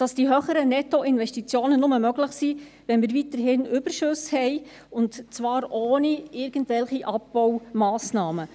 Die höheren Nettoinvestitionen sind nur möglich, wenn wir weiterhin Überschüsse haben, und zwar ohne irgendwelche Abbaumassnahmen.